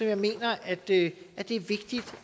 jeg mener at det er vigtigt